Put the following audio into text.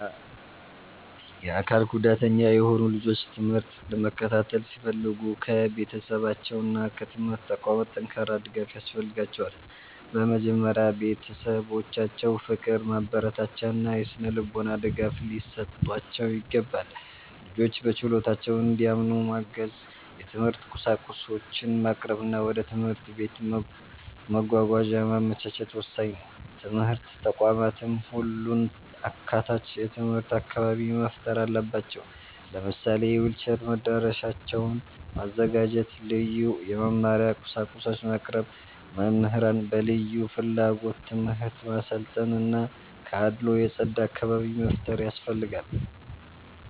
የአካል ጉዳተኛ የሆኑ ልጆች ትምህርት ለመከታተል ሲፈልጉ ከቤተሰባቸውና ከትምህርት ተቋማት ጠንካራ ድጋፍ ያስፈልጋቸዋል። በመጀመሪያ ቤተሰቦቻቸው ፍቅር፣ ማበረታቻ እና የሥነ-ልቦና ድጋፍ ሊሰጧቸው ይገባል። ልጆቹ በችሎታቸው እንዲያምኑ ማገዝ፣ የትምህርት ቁሳቁሶችን ማቅረብ እና ወደ ትምህርት ቤት መጓጓዣ ማመቻቸት ወሳኝ ነው። ትምህርት ተቋማትም ሁሉን አካታች የትምህርት አካባቢ መፍጠር አለባቸው። ለምሳሌ የዊልቸር መዳረሻዎችን ማዘጋጀት፣ ልዩ የመማሪያ ቁሳቁሶችን ማቅረብ፣ መምህራንን በልዩ ፍላጎት ትምህርት ማሰልጠን እና ከአድልዎ የጸዳ አካባቢ መፍጠር ያስፈልጋል።